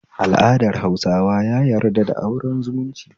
Al'adar hausawa ya yarda da auren zumunci